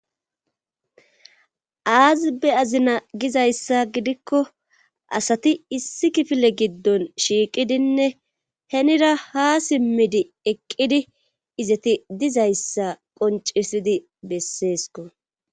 Aazibe azina gizayssa gidikko asati issi kifile giddon shiiqidinne henira ha simmidi eqqidi izati dizayssa qoncisidi besseesko.